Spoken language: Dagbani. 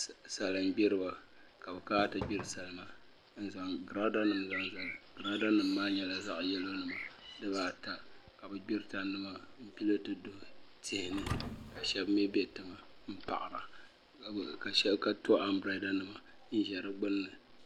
Salin gbiriba ka bi kana ti gbiri salima n zaŋ girada nim zaŋ zali girada nim maa nyɛla zaɣ yɛlo nima dibaata ka o gbiri tandi maa n gbili ti duɣi tihi ni ka shab mii bɛ tiŋa n paɣara ka to anbirɛla nima n ʒɛ di gbunni